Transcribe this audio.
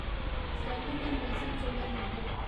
Stirling and Wilson solar limited